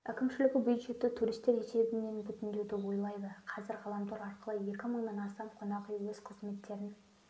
әкімшілігі бюджетті туристер есебінен бүтіндеуді ойлайды қазір ғаламтор арқылы екі мыңнан астам қонақүй өз қызметтерін